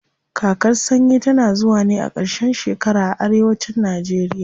Kakar sanyi tana zuwa ne a ƙarshen shekara a arewa cin najeriya.